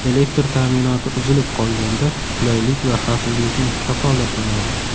Elektr ta’minoti uzilib qolganda qulaylik va xavfsizlikni kafolatlanadi.